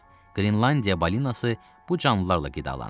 Qrinlandiya balinası bu canlılarla qidalanır.